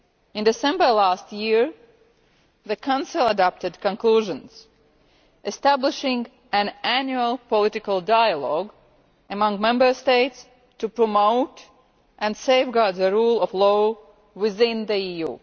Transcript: In December last year the Council adopted conclusions establishing an annual political dialogue among Member States to promote and safeguard the rule of law within the EU.